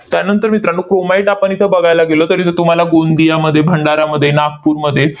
त्यानंतर मित्रांनो, chromite आपण इथं बघायला गेलो, तर इथं तुम्हाला गोंदियामध्ये, भंडारामध्ये, नागपूरमध्ये